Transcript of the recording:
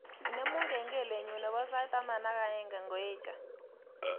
Inemu kengelenyu nebo sait taman ak aeng ngoeche